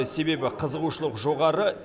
себебі қызығушылық жоғары